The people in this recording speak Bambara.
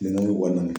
Minɛnw kɔnɔna na